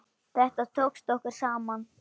Þetta tókst okkur saman.